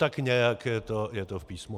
Tak nějak je to v Písmu.